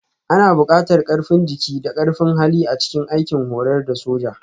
Ana buƙatar ƙarfin jiki da ƙarfin hali a cikin aikin horar da sojoji